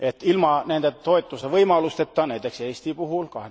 Ilma nende toetuse võimalusteta, näiteks Eesti puhul